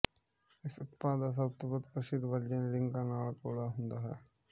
ਇਸ ਉਤਪਾਦ ਦਾ ਸਭ ਤੋਂ ਵੱਧ ਪ੍ਰਸਿੱਧ ਵਰਜਨ ਰਿੰਗਾਂ ਨਾਲ ਗੋਲਾ ਹੁੰਦਾ ਹੈ